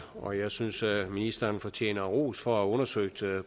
og jeg synes ministeren fortjener ros for at have undersøgt